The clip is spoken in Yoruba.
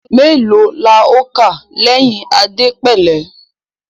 mèlòó là o ká lè ẹyìn Adepele